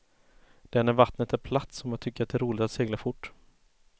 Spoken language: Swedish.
Det är när vattnet är platt som jag tycker det är roligt att segla fort.